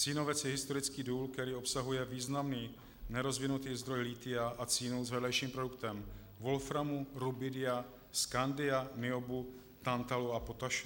Cínovec je historický důl, který obsahuje významný nerozvinutý zdroj lithia a cínu s vedlejším produktem wolframu, rubidia, skandia, niobu, tantalu a potaše.